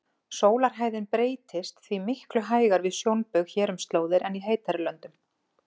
Sólarhæðin breytist því miklu hægar við sjónbaug hér um slóðir en í heitari löndum.